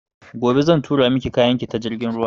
Gobe zan tura maki kayan ki ta jirgin ruwa